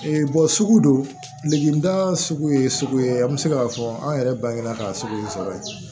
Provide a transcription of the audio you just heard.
sugu don degida sugu ye sugu ye an bɛ se k'a fɔ an yɛrɛ bangebaa ka sugu ye sɔrɔ ye